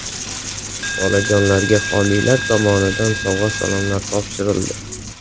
Bolajonlarga homiylar tomonidan sovg‘a-salomlar topshirildi.